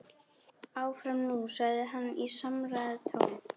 Áfram nú sagði hann í samræðutón.